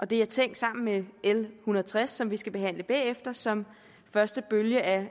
det er tænkt sammen med l en hundrede og tres som vi skal behandle bagefter som første bølge af